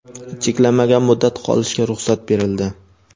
cheklanmagan muddat qolishga ruxsat berildi.